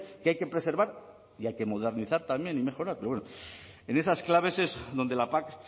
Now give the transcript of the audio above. que hay que preservar y hay que modernizar también y mejorar en esas claves donde la pac